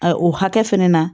A o hakɛ fɛnɛ na